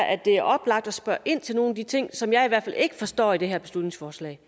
at det er oplagt at spørge ind til nogle af de ting som jeg i hvert fald ikke forstår i det her beslutningsforslag